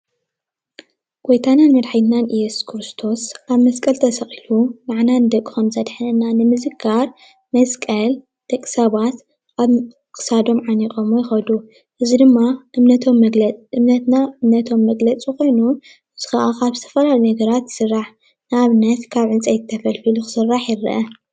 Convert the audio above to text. ጎይታናን መዳሕኒትናን እዮሱስ ክርስቶስ ኣብ መስቀል ተሰቂሉ ነዓና ንደቁ ከምዘድሕነና ንምዝካር መስቀል ደቂ ሰባት ኣብ ክሳዶም ዓኔቀሞ ይከዱ። እዚ ድማ እምነትና እምነቶም መግለጺ ኮይኑ እዚ ከዓ ካብ ዝተፈላለይ ነገራት ይስራሕ ንኣብነት ካብ ዕንጽይቲ ተፈልፊሉ ክስራሕ ይርአ።